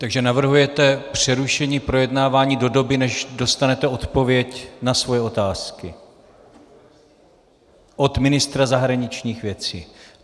Takže navrhujete přerušení projednávání do doby než dostanete odpověď na svoje otázky od ministra zahraničních věcí.